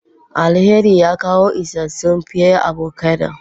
Alheri ya kawo isassun pear avocado.